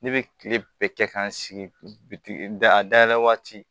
Ne bɛ kile bɛɛ kɛ k'an sigi bi da a dayɛlɛ waati